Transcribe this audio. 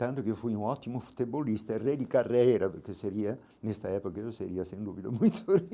Tanto que eu fui um ótimo futebolista, rei de carreira, porque eu seria, nesta época eu seria, sem dúvida, muito